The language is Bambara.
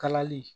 Kalali